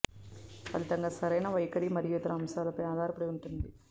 ఫలితంగా సరైన వైఖరి మరియు ఇతర అంశాలపై ఆధారపడి ఉంటుంది